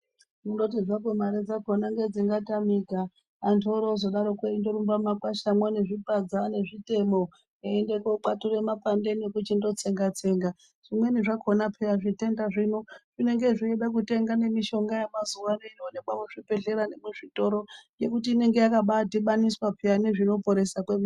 Kundoti zvako mare dzakona ndedzingatanika antu orozodaroko eirumba mumakwashamwo nezvipadza nezvitemo eiende kokwature makwande ekuti ndotsenga tsenga , zvimweni zvakona peya zvitenda zvino zvinenge zveida kutenga mishonga yemuzawano inoonekwa muzvibhedhlera nemuzvitora yekuti inenge yakabadhibaniswa peya nezvinoporesa kwemene.